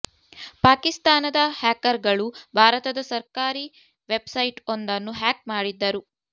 ಪಾಕಿಸ್ತಾನದ ಹ್ಯಾಕರ್ ಗಳು ಭಾರತದ ಸರ್ಕಾರಿ ವೆಬ್ ಸೈಟ್ ಒಂದನ್ನು ಹ್ಯಾಕ್ ಮಾಡಿದ್ದರು